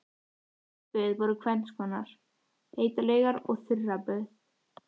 Heit böð voru tvenns konar, heitar laugar og þurraböð.